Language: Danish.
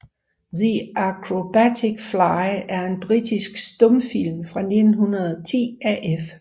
The Acrobatic Fly er en britisk stumfilm fra 1910 af F